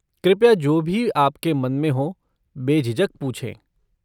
कृपया जो भी आपके मन में हो बेझिझक पूछें।